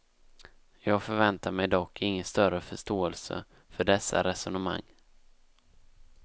Jag förväntar mig dock ingen större förståelse för dessa resonemang.